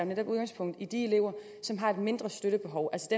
netop udgangspunkt i de elever som har et mindre støttebehov